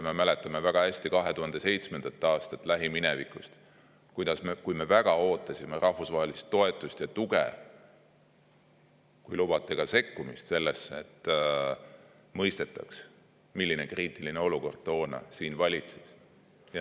Me mäletame väga hästi lähiminevikust 2007. aastat, kui me väga ootasime rahvusvahelist toetust ja tuge, kui lubate, ka sekkumist sellesse, et mõistetaks, milline kriitiline olukord toona siin valitses.